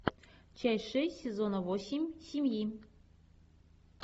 часть шесть сезона восемь семьи